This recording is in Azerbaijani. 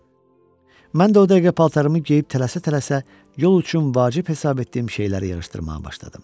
Mən də o dəqiqə paltarımı geyib tələsə-tələsə yol üçün vacib hesab etdiyim şeyləri yığışdırmağa başladım.